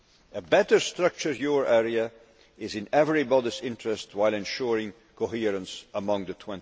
A better structured euro area is in everybody's interest while ensuring coherence among the